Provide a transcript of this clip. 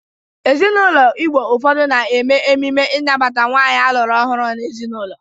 Ezinaụlọ Igbo ụfọdụ na-eme ememe ịnabata nwaanyị alụrụ ọhụrụ n'ezinaụlọ.